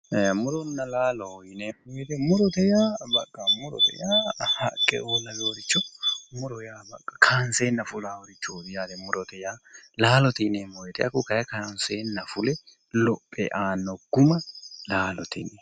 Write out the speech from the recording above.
Muronna laalo yineemmo woyiite murote yaa baqqa murote yaa haqqeo laweyooricho muro yaa knseenna fulaaricho murote yaa laalote yineemmo woyiite kanseenna fule lophe aanno guma laalote yinayi